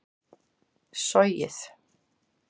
sogið